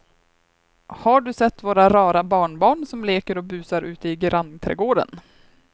Har du sett våra rara barnbarn som leker och busar ute i grannträdgården!